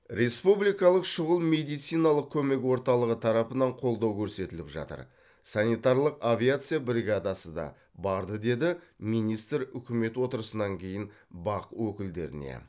республикалық шұғыл медициналық көмек орталығы тарапынан қолдау көрсетіліп жатыр санитарлық авиация бригадасы да барды деді министр үкімет отырысынан кейін бақ өкілдеріне